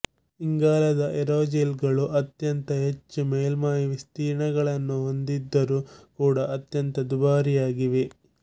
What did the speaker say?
ಇಂಗಾಲದ ಏರೋಜೆಲ್ ಗಳು ಅತ್ಯಂತ ಹೆಚ್ಚು ಮೇಲ್ಮೈ ವಿಸ್ತೀರ್ಣಗಳನ್ನು ಹೊಂದಿದ್ದರೂ ಕೂಡ ಅತ್ಯಂತ ದುಬಾರಿಯಾಗಿವೆ